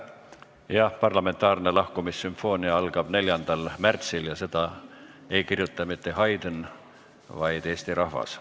Jah, parlamentaarne lahkumissümfoonia algab 4. märtsil ja selle autor ei ole mitte Haydn, vaid Eesti rahvas.